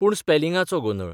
पूण स्पेलिंगाचो गोंदळ.